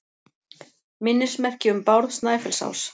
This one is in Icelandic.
Minnismerki um Bárð Snæfellsás.